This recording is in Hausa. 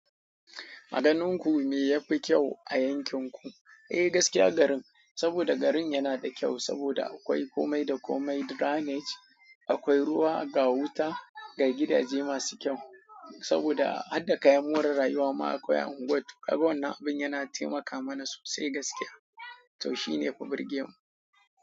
Aganin ku me ya fi kyau a yankin ku? Eh, gaskiya garin, saboda garin yana da kyau saboda akwai kome da kome drainage, akwai ruwa ga wuta, ga gidaje masu kyau. Saboda har da kayan more rayuwa ma akwai a unguwar. To kaga wannan abin yana taimaka mana sosai gaskiya. To shi ne fa birge wan.